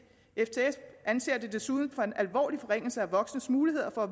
ftf anser det desuden for en alvorlig forringelse af voksnes muligheder for at